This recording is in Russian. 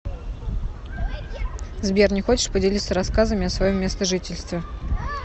сбер не хочешь поделиться рассказами о своем местожительстве